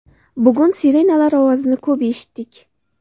Bugun sirenalar ovozini ko‘p eshitdik.